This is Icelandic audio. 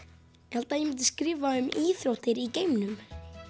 held að ég myndi skrifa um íþróttir í geimnum